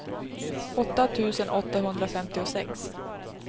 åtta tusen åttahundrafemtiosex